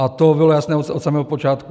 A to bylo jasné od samého počátku.